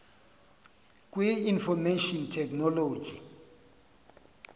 kwi information technology